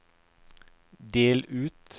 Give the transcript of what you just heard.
del ut